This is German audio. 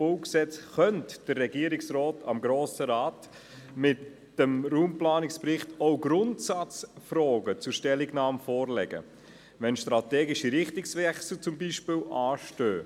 BauG könnte der Regierungsrat dem Grossen Rat mit dem Raumplanungsbericht auch Grundsatzfragen zur Stellungnahme vorlegen, zum Beispiel wenn strategische Richtungswechsel anstehen.